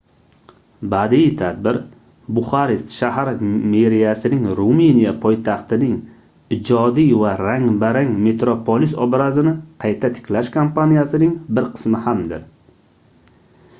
badiiy tadbir buxarest shahar meriyasining ruminiya poytaxtining ijodiy va rang-barang metropolis obrazini qayta tiklash kampaniyasining bir qismi hamdir